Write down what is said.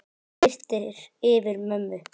Nú birtir yfir mömmu.